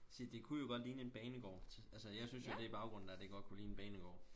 Se det kunne jo godt ligne en banegård altså jeg synes jo det i baggrunden dér det godt kunne ligne en banegård